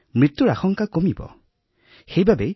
তাৰ পিছত সংক্ৰমণ হব পাৰে ই পজিটিভ হব পাৰে